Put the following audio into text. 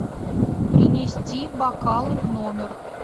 принести бокалы в номер